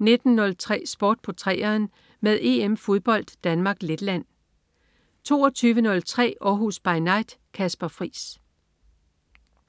19.03 Sport på 3'eren med EM-fodbold: Danmark-Letland 22.03 Århus By Night. Kasper Friis